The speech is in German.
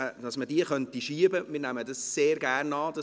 Das nehmen wir sehr gerne an.